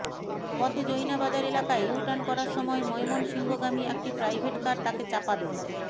পথে জৈনা বাজার এলাকায় ইউটার্ন করার সময় ময়মনসিংহগামী একটি প্রাইভেটকার তাকে চাপা দেয়